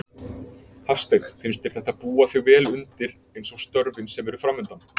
Hafsteinn: Finnst þér þetta búa þig vel undir eins og störfin sem eru framundan?